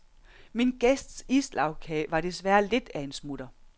Min gæsts islagkage var desværre lidt af en smutter.